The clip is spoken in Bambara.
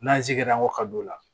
N'an jigira wakati o la